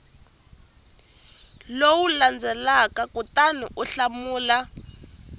lowu landzelaka kutani u hlamula